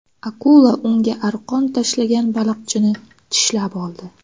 Akula unga arqon tashlagan baliqchini tishlab oldi.